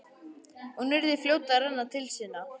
Hún yrði fljót að renna til sinna.